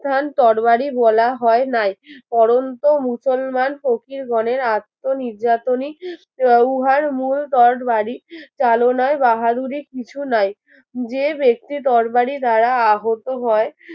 তরবারি বলা হয় নাই পড়ন্ত মুসলমান ফকির বনের আত্মনির্যাতনই আহ উহার মূল তটবাড়ি চালনার বাহাদুরি কিছু নাই যে ব্যক্তি তরকারি দ্বারা আহত হয়